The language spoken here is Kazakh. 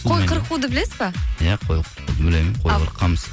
қой қырқуды білесіз бе иә қой қырқуды білемін қой қырыққанбыз